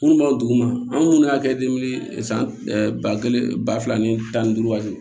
Minnu b'aw duguma an munnu y'a kɛ san ɛ ba kelen ba fila ni tan ni duuru ka se